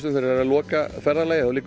þær eru að loka ferðalagi þá liggur